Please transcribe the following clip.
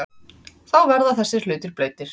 Þá verða þessir hlutir blautir.